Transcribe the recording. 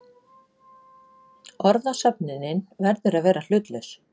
Orðasöfnunin verður að vera hlutlaus.